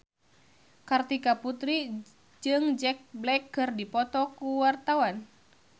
Kartika Putri jeung Jack Black keur dipoto ku wartawan